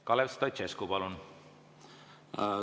Kalev Stoicescu, palun!